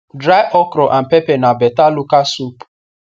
dry okro and pepe na beta local soap